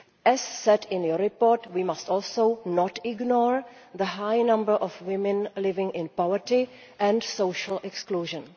As said in your report, we must also not ignore the high number of women living in poverty and social exclusion.